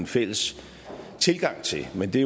fælles tilgang til men det